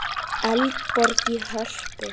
Eldborg í Hörpu.